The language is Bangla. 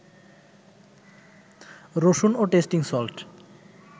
রসুন ও টেস্টিং সল্ট